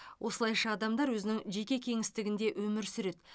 осылайша адамдар өзінің жеке кеңістігінде өмір сүреді